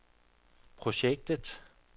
projektet